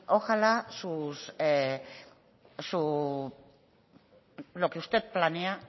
ojalá lo que usted planea